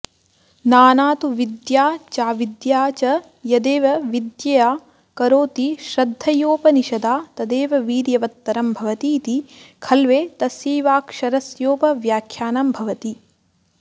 नाना तु विद्या चाविद्या च यदेव विद्यया करोति श्रद्धयोपनिषदा तदेव वीर्यवत्तरं भवतीति खल्वेतस्यैवाक्षरस्योपव्याख्यानं भवति